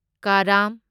ꯀꯥꯔꯥꯝ